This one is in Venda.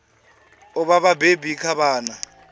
u vha vhabebi vha ṅwana